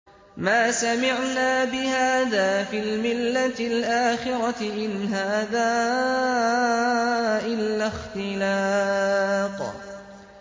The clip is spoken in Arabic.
مَا سَمِعْنَا بِهَٰذَا فِي الْمِلَّةِ الْآخِرَةِ إِنْ هَٰذَا إِلَّا اخْتِلَاقٌ